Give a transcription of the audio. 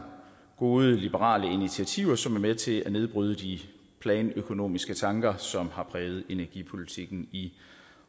gode liberale initiativer som er med til at nedbryde de planøkonomiske tanker som har præget energipolitikken i